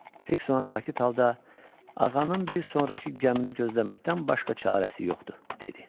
Fiks ona sakit halda, ağanın bir sonrakı gəmini gözləməkdən başqa çarəsi yoxdur, dedi.